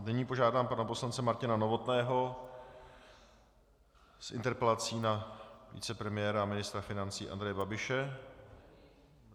Nyní požádám pana poslance Martina Novotného s interpelací na vicepremiéra a ministra financí Andreje Babiše.